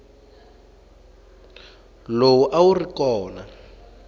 lowu a wu ri kona